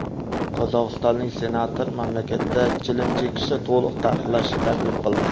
Qozog‘istonlik senator mamlakatda chilim chekishni to‘liq taqiqlashni taklif qildi.